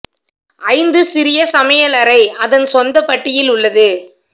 ஐந்து சிறிய சமையலறை அதன் சொந்த பட்டியில் உள்ளது